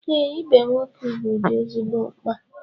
Ee, ibe nwoke ugwu dị ezigbo mkpa